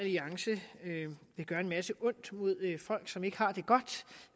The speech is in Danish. alliance vil gøre en masse ondt mod folk som ikke har det godt